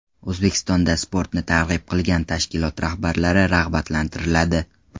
O‘zbekistonda sportni targ‘ib qilgan tashkilot rahbarlari rag‘batlantiriladi.